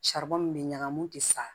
min bɛ ɲagamu u tɛ sa